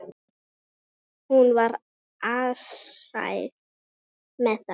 Hún var alsæl með það.